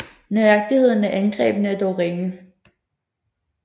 Nøjagtigheden af angrebene er dog ringe